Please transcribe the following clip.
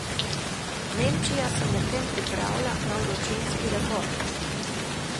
Nemčija se medtem pripravlja na vročinski rekord.